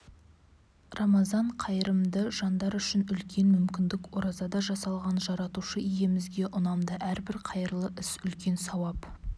рамазан қайырымды жандар үшін үлкен мүмкіндік оразада жасалған жаратушы иемізге ұнамды әрбір қайырлы іс үлкен сауап